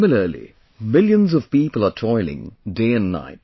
Similarly, millions of people are toiling day and night